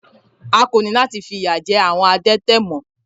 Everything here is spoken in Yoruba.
A kò ní láti fi ìyà jẹ àwọn adẹ́tẹ̀ mọ́.